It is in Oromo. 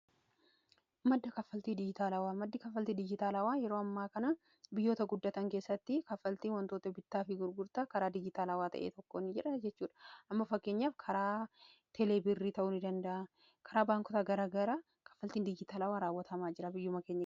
Madda Kaffaltii digiitaalawaa: Maddi kaffaltii digiitaalawaa yeroo ammaa kana biyyoota guddatan keessatti kaffaltii wantoota bittaa fi gurgurtaa karaa digiitaalawaa ta'een gaggeeffamuudha. Fakkeenyaaf karaa teelee birrii fi karaa baankota garaagaraa raawwatamuu danda'a.